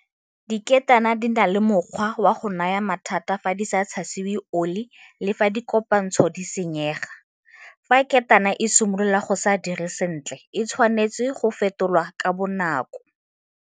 Diketane di na le mokgwa wa go naya mathata fa di sa tshasiwa oli le fa dikopantsho di senyega. Fa ketana e simolola go se dire sentle e tshwanetse go fetolwa ka bonako.